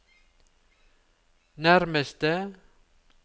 nærmeste